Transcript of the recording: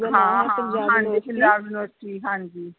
ਹਾਂ ਹਾਂ ਹਾਂਜੀ ਪੰਜਾਬ university ਹਾਂਜੀ